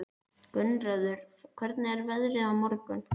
Gunnröður, hvernig er veðrið á morgun?